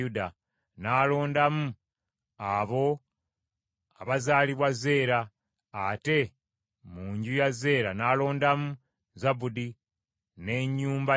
n’alondamu abo abazaalibwa Zeera, ate mu nju ya Zeera n’alondamu Zabudi n’ennyumba ye: